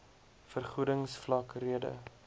vergoedings vlak rede